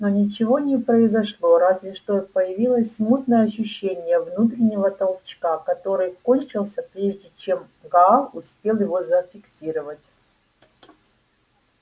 но ничего не произошло разве что появилось смутное ощущение внутреннего толчка который кончился прежде чем гаал успел его зафиксировать